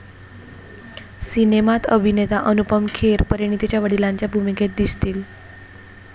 सिनेमात अभिनेता अनुपम खेर परिणितीच्या वडिलांच्या भूमिकेत दिसतील.